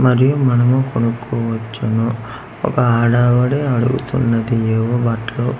మరియు మనము కొనుక్కోవచ్చును ఒక ఆడవిడ అడుగుతున్నది ఏవో బట్టలు